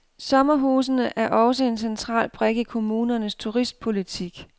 Sommerhusene er også en central brik i kommunernes turistpolitik.